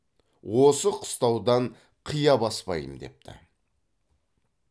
осы қыстаудан қия баспаймын депті